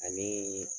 Ani